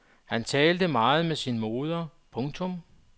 Han talte meget med sin moder. punktum